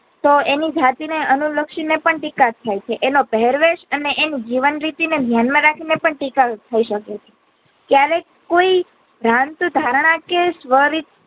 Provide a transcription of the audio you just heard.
તો એની જાતી ને અનુલક્ષી ને પણ ટીકા થાય છે એનો પહેરવેશ અને એની જીવન રીતિ ને ધ્યાનમાં રાખી ને પણ ટીકા ઓ થઇ શકે છે ક્યારેક કોઈ ધ્યાન ધારણા કે સ્વરિત